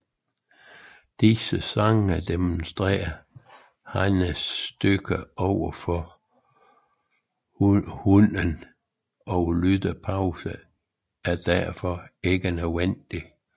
Disse sange demonstrerer hannens styrke overfor hunnen og lyttepauser er derfor ikke nødvendige